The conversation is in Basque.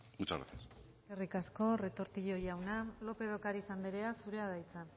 muchas gracias eskerrik asko retortillo jauna lópez de ocariz anderea zurea da hitza